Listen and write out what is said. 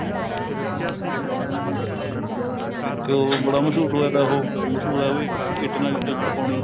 ਇੱਕ ਉਹ ਵੀ ਬੜਾ ਮਸ਼ਹੂਰ ਹੋਇਆ ਤਾ ਉਹ ਮਸ਼ਹੂਰ ਏ ਉਵੀ ਇੱਟ ਨਾਲ ਇੱਟ ਖੜਕਾਉਣੀ